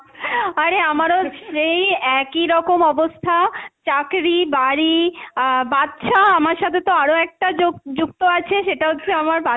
আরে আমারও সেই একই রকম অবস্থা চাকরি, বাড়ি আহ বাচ্চা আমার সাথে তো আরও একটা যোক~ যুক্ত আছে সেটা হচ্ছে আমার,